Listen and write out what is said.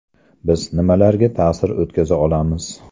Biz nimalarga ta’sir o‘tkaza olamiz?